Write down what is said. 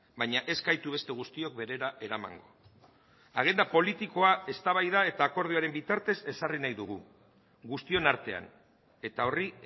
baina ez gaitu beste guztiok berera eramango agenda politikoa eztabaida eta akordioaren bitartez ezarri nahi dugu guztion artean eta horri